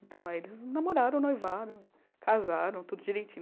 Então, aí eles namoraram, noivaram, casaram, tudo direitinho.